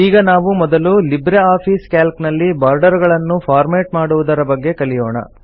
ಈಗ ನಾವು ಮೊದಲು ಲಿಬ್ರೆ ಆಫೀಸ್ ಕ್ಯಾಲ್ಕ್ ನಲ್ಲಿ ಬಾರ್ಡರ್ ಗಳನ್ನು ಫಾರ್ಮೆಟ್ ಮಾಡುವುದರ ಬಗ್ಗೆ ಕಲಿಯೋಣ